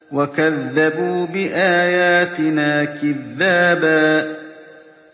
وَكَذَّبُوا بِآيَاتِنَا كِذَّابًا